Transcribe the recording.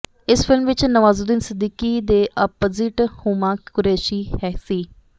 ਇਸ ਫ਼ਿਲਮ ਵਿੱਚ ਨਵਾਜ਼ੁਦੀਨ ਸਦੀਕੀ ਦੇ ਆਪਜਿਟ ਹੁਮਾ ਕੁਰੈਸ਼ੀ ਸੀ